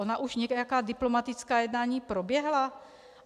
Ona už nějaká diplomatická jednání proběhla?